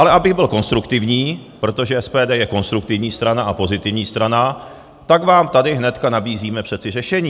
Ale abych byl konstruktivní, protože SPD je konstruktivní strana a pozitivní strana, tak vám tady hnedka nabízíme přeci řešení.